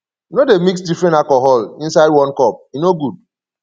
no dey mix different alcohol inside one cup e no good